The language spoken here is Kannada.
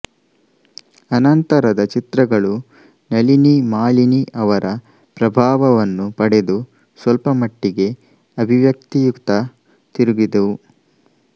ಅನಂತರದ ಚಿತ್ರಗಳು ನಲಿನಿ ಮಾಲಿನಿ ಅವರ ಪ್ರಭಾವವನ್ನು ಪಡೆದು ಸ್ವಲ್ಪಮಟ್ಟಿಗೆ ಅಭಿವ್ಯಕ್ತಿಯತ್ತ ತಿರುಗಿದವು